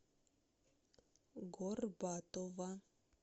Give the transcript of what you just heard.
горбатова